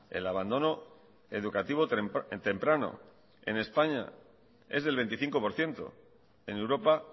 el abandono educativo temprano en españa es del veinticinco por ciento en europa